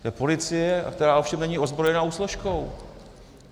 To je policie, která ovšem není ozbrojenou složkou.